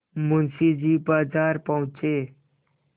मुंशी जी बाजार पहुँचे